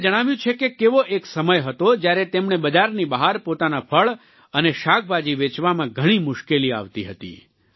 તેમણે જણાવ્યું છે કે કેવો એક સમય હતો જ્યારે તેમણે બજારની બહાર પોતાના ફળ અને શાકભાજી વેચવામાં ઘણી મુશ્કેલી આવતી હતી